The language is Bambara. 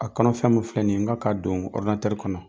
A kɔnɔ fɛn mun filɛ nin ye, ŋa k'a don kɔnɔ.